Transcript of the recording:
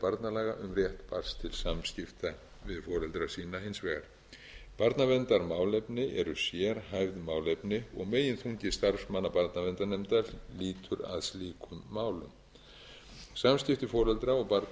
barnalaga um rétt barns til samskipta við foreldra sína hins vegar barnaverndarmálefni eru sérhæfð málefni og meginþungi starfsmanna barnaverndarnefndar lýtur að slíkum málum samskipti foreldra og barna eru